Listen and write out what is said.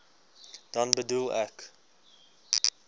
dan bedoel ek